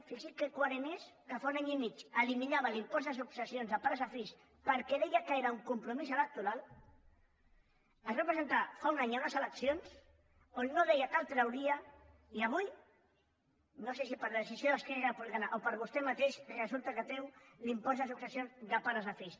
fixi’s que coherent que és que fa un any i mig eliminava l’impost de successions de pares a fills perquè deia que era un compromís electoral es va presentar fa un any a unes eleccions on no deia que el trauria i avui no sé si per decisió d’esquerra republicana o per vostè mateix resulta que treu l’impost de successions de pares a fills